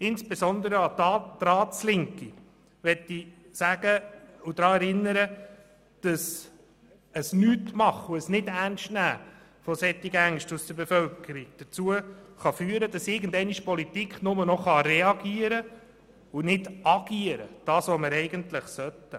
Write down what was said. Ich möchte insbesondere die Ratslinke daran erinnern, dass Nichtstun und ein Nichternstnehmen solcher Ängste der Bevölkerung dazu führen können, dass die Politik irgendwann nur noch reagieren statt agieren kann, wie wir dies eigentlich sollten.